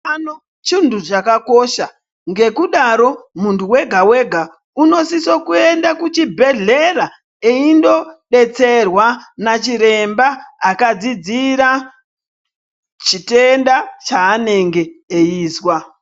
Utano chintu chakakosha ngekudaro muntu wega-wega unosisa kuenda kuchibhehlera eindodetserwa nachiremba akadzidzira chitenda chanenge eizwa.